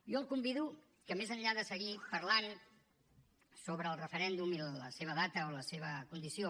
jo el convido que més enllà de seguir parlant sobre el referèndum i la seva data o la seva condició